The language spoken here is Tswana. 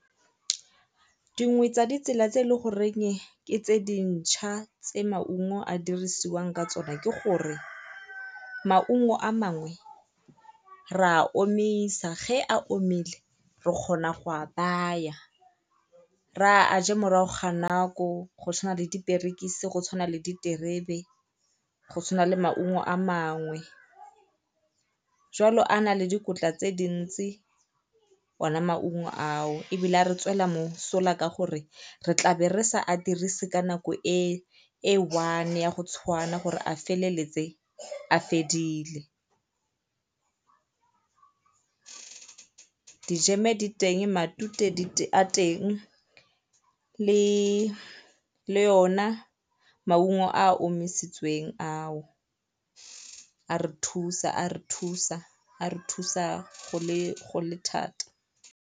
Dingwe tsa ditsela tse e le goreng ke tse dintšha tse maungo a dirisiwang ka tsona ke gore maungo a mangwe ra a omisa, ge a omile re kgona a baya re a a je morago ga nako go tshwana le diperekise, go tshwana le diterebe, go tshwana le maungo a mangwe. Jwalo a na le dikotla tse dintsi, ona maungo ao ebile a re tswela mosola ka gore re tlaa be re sa a dirise ka nako e e one ya go tshwana ya gore a feleletse a fedile. dijeme di teng, matute a teng, le le ona maungo a a omisitsweng ao a re thusa a re thusa a re thusa go le go le thata.